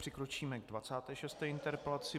Přikročíme k 26. interpelaci.